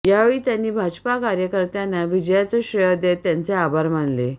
यावेळी त्यांनी भाजपा कार्यकर्त्यांना विजयाचं श्रेय देत त्यांचे आभार मानले